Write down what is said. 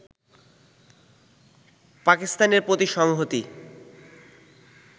পাকিস্তানের প্রতি সংহতি